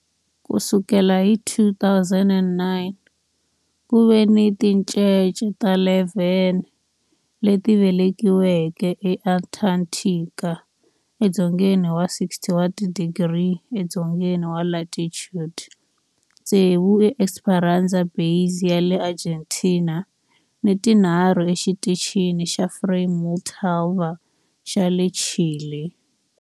Ku sukela hi 2009, ku ve ni tincece ta 11 leti velekiweke eAntarctica, edzongeni wa 60 wa tidigri edzongeni wa latitude, tsevu eEsperanza Base ya le Argentina ni tinharhu eXitichini xa Frei Montalva xa le Chile.